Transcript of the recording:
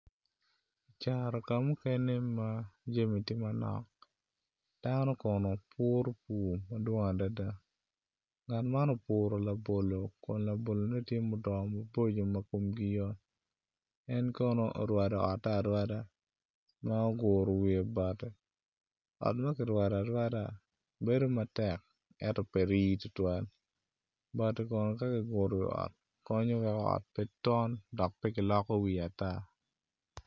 Caro ka mukene ma jami tye manok dano Kono puru pur madwong adada ngat man opuru labolone Kun labolone tye modongo maboco ma komgi yot en Kono orwado otte arwada ma oguru wiye bati ot ma ki rwada arwada bedo matek eto pe rii tutwal bati Kono ka kiguru iwi bati miyo ot pe tom dok pe kiloko wiye ata